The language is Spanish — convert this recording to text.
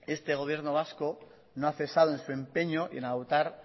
este gobierno vasco no ha cesado en su empeño y en adoptar